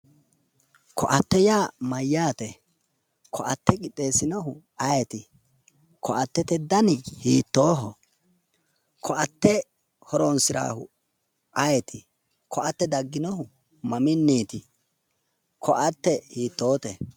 Koatete yaa mayyaate? koate quxxeesinohu ayeeti? Koattete dani hiittooho? Koatte horonsirannohu ayeeti? Koatte dagginohu mamiiniiti? Koatte hiitoote?